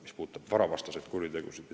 See puudutab varavastaseid kuritegusid.